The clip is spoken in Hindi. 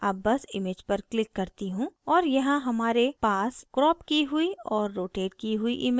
अब बस image पर click करती हूँ और यहाँ हमारे पास cropped की हुई और rotated की हुई image है